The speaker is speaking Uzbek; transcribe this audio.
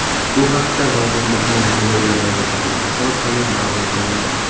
Bu haqda vazirlikning Telegram’dagi sahifasi orqali ma’lum qilindi .